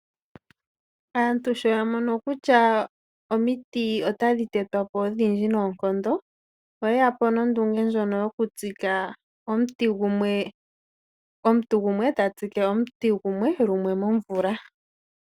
Aantu sho ya mono kutya omiti otadhi tetwa po odhindji noonkondo oye ya po nondunge ndjono omuntu gumwe ta tsike omuti gumwe lumwe momvula.